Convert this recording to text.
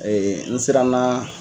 n siranna